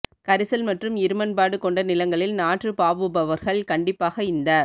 கரிசல் மற்றும் இருமண்பாடு கொண்ட நிலங்களில் நாற்று பாவுபவர்கள் கண்டிப்பாக இந்த